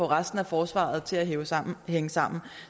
resten af forsvaret til at hænge sammen hænge sammen